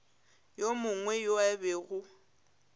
yo mongwe yo a bego